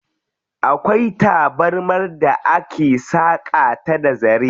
Akwai tabarmar da ake saƙa ta da zare.